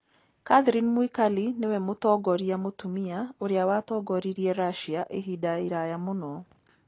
Catherine Mwikali nĩwe mũtongoria mũtumia ũrĩa watongoririe Russia ihinda iraya mũno.